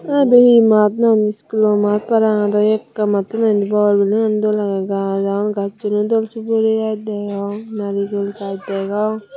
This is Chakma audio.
ai ibey hi mat noiney school or mat parapang aido ekka matto noi indi bor building an dol age gach agon gacchun u dol suguri gach degong narigul gach degong.